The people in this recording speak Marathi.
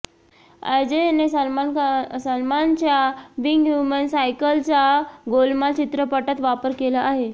अजयने सलमानच्या बीईंग ह्युमन सायकलचा गोलमाल चित्रपटात वापर केला आहे